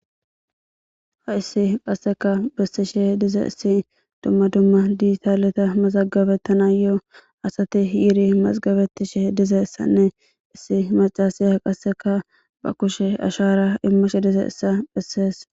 Ha issi qasseka bessishe diza issi dumma dumma diitaaleta mazagabettana yoo asati yiri masgabettishe diza issanne issi macasiya qasseka ba kushe ashara immashe dize issa bessees.